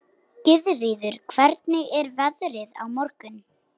Gyðríður, hvernig er veðrið á morgun?